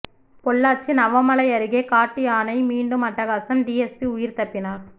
பொள்ளாச்சி நவமலை அருகே காட்டு யானை மீண்டும் அட்டகாசம் டிஎஸ்பி உயிர் தப்பினார்